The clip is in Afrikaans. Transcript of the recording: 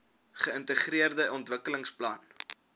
geintegreerde ontwikkelingsplan idp